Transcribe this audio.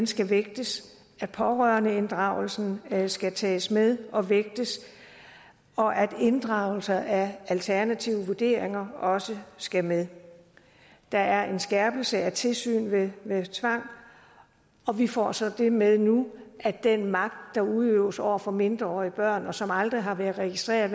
skal vægtes at pårørendeinddragelsen skal skal tages med og vægtes og at inddragelse af alternative vurderinger også skal med der er en skærpelse af tilsyn ved tvang og vi får så det med nu at den magt der udøves over for mindreårige børn og som aldrig har været registreret